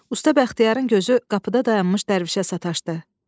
Usta Bəxtiyarın gözü qapıda dayanmış dərvişə sataşdı.